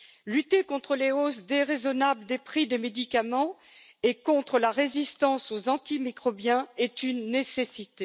Lutter contre les hausses déraisonnables des prix des médicaments et contre la résistance aux antimicrobiens est une nécessité.